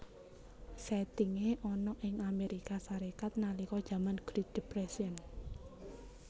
Sèttingé ana ing Amérika Sarékat nalika jaman Great Depression